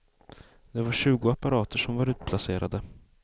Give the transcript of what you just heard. Det var tjugo apparater som var utplacerade.